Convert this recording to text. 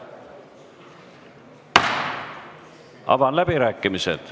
Avan läbirääkimised.